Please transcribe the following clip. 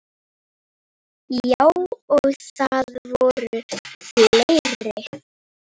Já, og það voru fleiri.